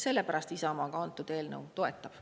Sellepärast Isamaa ka antud eelnõu toetab.